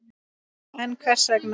En hver vegna?